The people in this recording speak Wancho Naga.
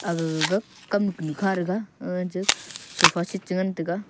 aga gaga kam kunu kha thaga aga cha sofa sit cha ngan taga.